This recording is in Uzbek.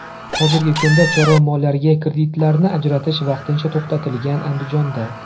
Hozirgi kunda chorva mollariga kreditlarni ajratish vaqtincha to‘xtatilgan Andijonda.